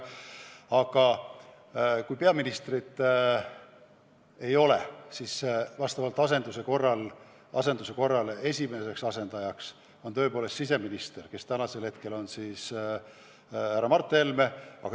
Aga kui peaministrit ei ole, siis vastavalt asenduse korrale on esimene asendaja tõepoolest siseminister, kes praegu on härra Mart Helme.